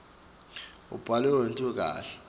umbhalo wetfulwe kahle